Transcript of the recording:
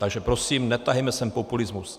Takže prosím, netahejme sem populismus.